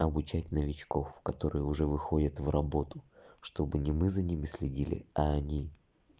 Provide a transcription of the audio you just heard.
обучать новичков которые уже выходят в работу чтобы не мы за ними следили а они